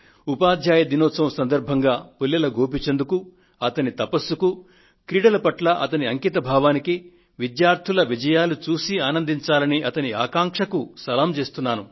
ఉపాధ్యాయ దినోత్సవం సందర్భంగా పుల్లెల గోపీచంద్ కు అతని తపస్సుకూ క్రీడల పట్ల అతని అంకిత భావానికీ విద్యార్థుల విజయాలు చూసి ఆనందించాలనే అతని ఆకాంక్షకూ సలాం చేస్తున్నాను